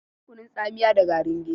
Akwai kunun tsamiya da garin gero.